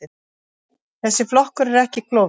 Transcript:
Þessi flokkur er ekki klofinn.